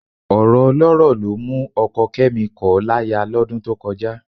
Ọ̀rọ̀ ọlọ́rọ̀ ló mú ọkọ Kẹ́mi kọ̀ ọ́ láya lọ́dún tó kọjá